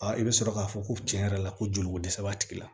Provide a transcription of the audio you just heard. i bɛ sɔrɔ k'a fɔ ko cɛn yɛrɛ la ko joliko dɛsɛ b'a tigi la